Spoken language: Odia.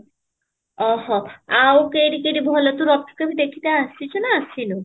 ଓହୋ ଆଉ କିଏ କି ଏଠି ଭଲ ତୁ ରଥ କେବେ ଦେଖତେ ଆସିଛୁ ନା ଅସୀନାହୁଁ